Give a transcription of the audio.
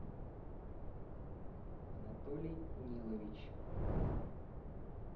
анатолий нилович